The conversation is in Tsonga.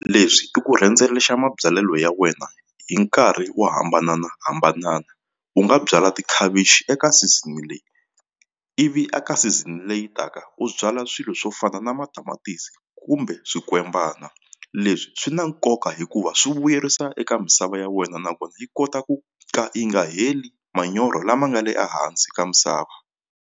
Leswi i ku rhendzelexa mabyalelo ya wena hi nkarhi wo hambananahambanana u nga byala tikhavichi eka season leyi ivi a ka season leyi taka u byala swilo swo fana na na matamatisi kumbe swikwembana leswi swi na nkoka hikuva swi vuyerisa eka misava ya wena nakona yi kota ku ka yi nga heli manyoro lama nga le ehansi ka misava.